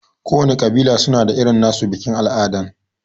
Kowana ƙabila suna da irin nasu bikin al'ada.